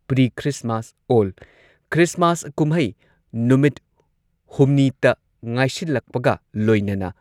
pre Christmas ꯑꯣꯜ Christmas ꯀꯨꯝꯍꯩ ꯅꯨꯃꯤꯠ ꯍꯨꯝꯅꯤꯇ ꯉꯥꯏꯁꯤꯜꯂꯛꯄꯒ ꯂꯣꯏꯅꯅ